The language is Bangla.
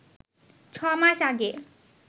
ছ মাস আগে